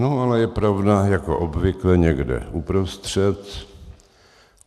No ale je pravda jako obvykle někde uprostřed.